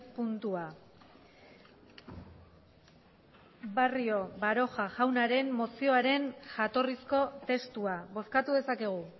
puntua barrio baroja jaunaren mozioaren jatorrizko testua bozkatu dezakegu